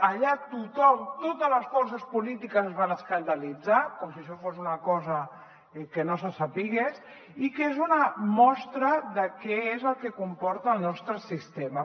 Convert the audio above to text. allà tothom totes les forces polítiques es van escandalitzar com si això fos una cosa que no se sabés i que és una mostra de què és el que comporta el nostre sistema